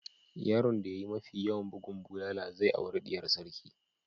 Yaron da ya yi mafi yawan bugun bulala zai auri diyar sarki.